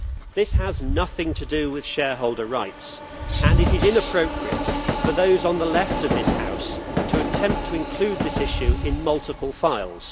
This has nothing to do with shareholder rights, and it is inappropriate for those on the left of this House to attempt to include this issue in multiple files.